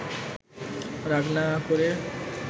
রাগ না করে